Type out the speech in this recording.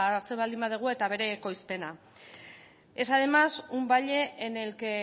hartzen baldin badegu eta bere ekoizpena es además un valle en el que